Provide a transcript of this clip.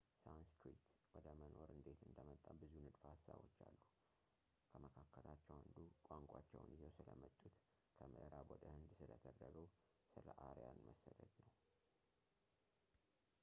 ሳንስክሪት ወደ መኖር እንዴት እንደመጣ ብዙ ንድፈ ሀሳቦች አሉ ከመካከላቸው አንዱ ቋንቋቸውን ይዘው ስለመጡት ከምዕራብ ወደ ሕንድ ስለተደረገው ስለ አርያን መሰደድ ነው